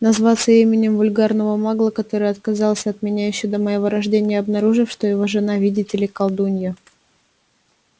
называться именем вульгарного магла который отказался от меня ещё до моего рождения обнаружив что его жена видите ли колдунья